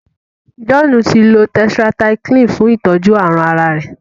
John tí lọ tetracycline fún itọjú àrùn àrà rẹ.